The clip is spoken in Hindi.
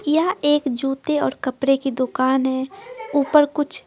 यह एक जूते और कपड़े की दुकान है ऊपर कुछ।